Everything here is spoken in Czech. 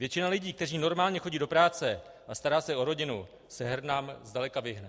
Většina lidí, kteří normálně chodí do práce a starají se o rodinu, se hernám zdaleka vyhne.